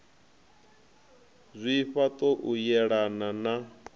zwifha ṱo u yelana na